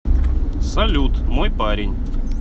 салют мой парень